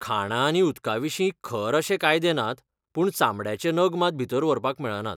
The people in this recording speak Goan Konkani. खाणां आनी उदकाविशीं खर अशे कायदे नात पूण चामड्याचे नग मात भितर व्हरपाक मेळनात.